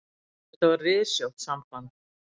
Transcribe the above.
Þetta var rysjótt samband.